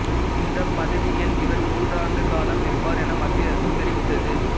இந்த பதவியில் இவர் மூன்றாண்டு காலம் இருப்பார் என மத்திய அரசு தெரிவித்தது